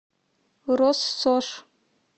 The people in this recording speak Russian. россошь